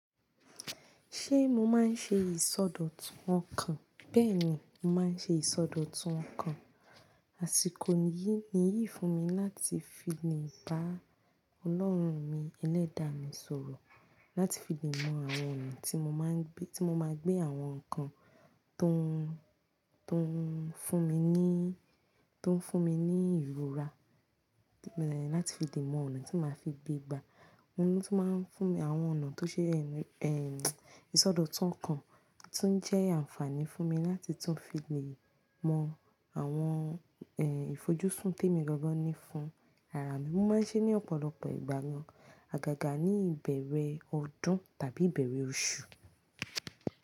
Ṣé mo máa ń ṣe ìsọdọ̀tun ọkàn? Bẹ́ẹ̀ni, mo máa ń ṣe ìsọdọ̀tun ọkàn. Àsìkò yìí ni yìí fún mi láti fi lè bá Ọlọ́run mi, ẹlẹ́dàá mi sọ̀rọ̀. Láti fi lè mọ àwọn ọ̀nà tí mo máa gbé àwọn nǹkan tó ń fún mi ní ìrora, láti fi lè mọ ọ̀nà tí màá fi gbé gbà. Òun ló tún ma ń fún mi, àwọn ọ̀nà tó ṣe ẹ̀n ìsọdọ̀tun ọkàn tún jẹ́ àǹfààní fún mi láti tún fi lè mọ àwọn ìfojúsùn tí èmi gangan ní fún ara mi. Mo máa ń ṣe é ní ọ̀pọ̀lọpọ̀ ìgbà gan àgàgà ní ìbẹ̀rẹ̀ ọdún tàbí ìbẹ̀rẹ̀ oṣù.